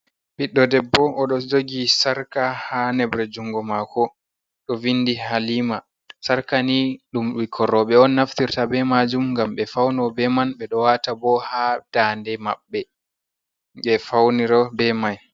Ɓiɗɗo debbo oɗo jogi sarka ha nebre jungo mako ɗo vindi halima, sarka ni ɗum ɓikkon roɓɓe on naftirta be majum gam ɓe fauno be man ɓe ɗo wata bo ha dande maɓɓe ɓe fauniro be mai.